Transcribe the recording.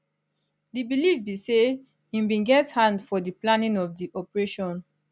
di believe be say im bin get hand for di planning of di operation